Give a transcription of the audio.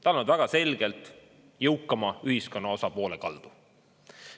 Ta on olnud väga selgelt jõukama ühiskonnaosa poole kaldu.